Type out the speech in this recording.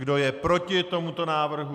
Kdo je proti tomuto návrhu?